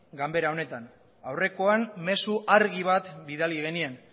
ganbara honetan aurrekoan mezu argi bat bidali genien